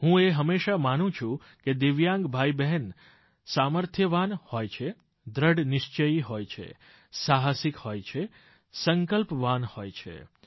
હું એ હંમેશા માનું છું કે દિવ્યાંગ ભાઈબહેન સામર્થ્યવાન હોય છે દ્રઢ નિશ્ચયી હોય છે સાહસિક હોય છે સંકલ્પવાન હોય છે